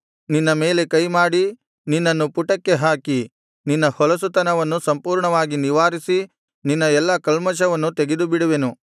ನಿನ್ನ ಮೇಲೆ ಕೈಮಾಡಿ ನಿನ್ನನ್ನು ಪುಟಕ್ಕೆ ಹಾಕಿ ನಿನ್ನ ಹೊಲಸುತನವನ್ನು ಸಂಪೂರ್ಣವಾಗಿ ನಿವಾರಿಸಿ ನಿನ್ನ ಎಲ್ಲಾ ಕಲ್ಮಷವನ್ನು ತೆಗೆದುಬಿಡುವೆನು